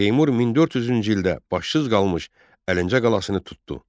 Teymur 1400-cü ildə başsız qalmış Əlincə qalasını tutdu.